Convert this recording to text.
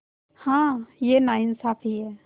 हाँ यह नाइंसाफ़ी है